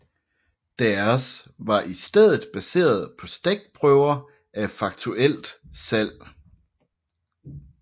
Deres var i stedet baseret på stikprøver af faktuelt salg